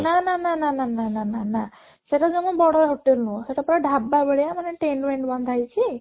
ନା ନା ନା ନା ନା ନା ନା ନା ନା ସେଟା ଜମା ବଡ hotel ନୁହଁ ସେଟା ପୁରା ଢ଼ାବା ଭଳିଆ ମାନେ tent ମେଣ୍ଟ ବନ୍ଧା ହେଇଛି